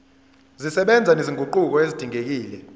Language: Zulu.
zisebenza nezinguquko ezidingekile